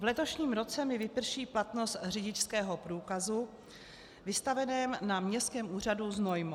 V letošním roce mi vyprší platnost řidičského průkazu vystaveného na Městském úřadu Znojmo.